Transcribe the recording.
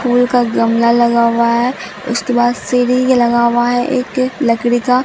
फूल का गमला लगा हुआ है उसके बाद सीढ़ी लगा हुआ है एक लकड़ी का--